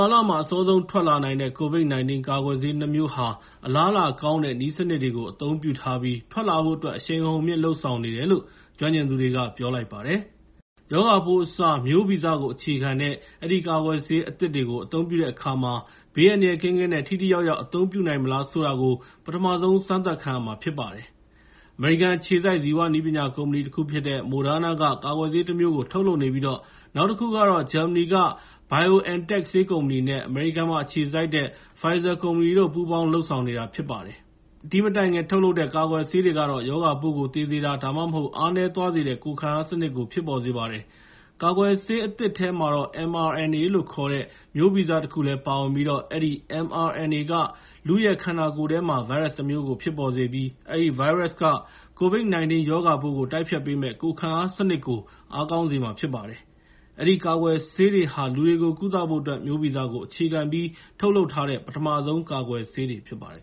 ာလမှာ အစောဆုံး ထွက်လာနိုင်တဲ့ COVID-19 ကာကွယ်ဆေး နှစ်မျိုးဟာ အလားအလာကောင်းတဲ့ နည်းစနစ်တွေကို အသုံးပြုထားပြီး ထွက်လာဖို့အတွက် အရှိန်အဟုန်မြှင့်လုပ်ဆောင်နေတယ်လို့ ကျွမ်းကျင်သူတွေက ပြောလိုက်ပါတယ်။ ရောဂါပိုးအစား မျိုးဗီဇကို အခြေခံတဲ့ အဲဒီကာကွယ်ဆေးအသစ်တွေကို အသုံးပြုတဲ့အခါမှာ ဘေးအန္တရာယ်ကင်းကင်းနဲ့ ထိထိရောက်ရောက် အသုံးပြုနိုင်မလားဆိုတာကို ပထမဆုံး စမ်းသပ်ခံရမှာဖြစ်ပါတယ်။ အမေရိကန်အခြေစိုက် ဇီဝနည်းပညာကုမ္ပဏီတခုဖြစ်တဲ့ Moderna က ကာကွယ်ဆေးတမျိုးကို ထုတ်လုပ်နေပြီး နောက်တခုကတော့ ဂျာမနီက BioNTech ဆေးကုမ္ပဏီနဲ့ အမေရိကန်မှာ အခြေစိုက်တဲ့ Pfizer ကုမ္ပဏီတို့ ပူးပေါင်းထုတ်လုပ်နေတာဖြစ်ပါတယ်။ ဒီမတိုင်ခင်ထုတ်တဲ့ ကာကွယ်ဆေးတွေကတော့ ရောဂါပိုးကို သေစေတာ ဒါမှမဟုတ် အားနည်းသွားစေတဲ့ ကိုယ်ခံအားစနစ်ကို ဖြစ်ပေါ်စေပါတယ်။ ကာကွယ်ဆေးအသစ်ထဲမှာ mRNA လို့ခေါ်တဲ့ မျိုးဗီဇတခုလည်း ပါဝင်ပြီး အဲဒီ mRNA က လူ့ရဲ့ခန္ဓာကိုယ်ထဲမှာ ဗိုင်းရပ်စ်တမျိုးကိုဖြစ်ပေါ်စေပြီးတော့ အဲဒီဗိုင်းရပ်စ်က COVID-19 ရောဂါပိုးကို တိုက်ဖျက်ပေးမယ့် ကိုယ်ခံအားစနစ်ကို အားကောင်းစေမှာဖြစ်ပါတယ်။ အဲဒီကာကွယ်ဆေးတွေဟာ လူတွေကို ကုသဖို့အတွက် မျိုးဗီဇကို အခြေခံပြီး ထုတ်လုပ်ထားတဲ့ ပထမဆုံးကာကွယ်ဆေးတွေ ဖြစ်ပါတယ်